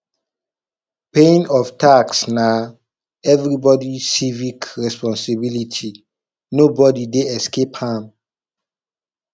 paying of tax na everybody civic responsibility nobody dey escape am